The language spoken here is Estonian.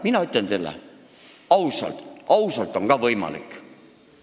Mina ütlen teile ausalt: ausalt on ka võimalik.